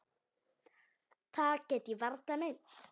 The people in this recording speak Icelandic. Það get ég varla meint.